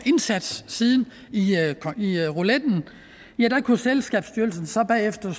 indsats i rouletten havde selskabsstyrelsen så bagefter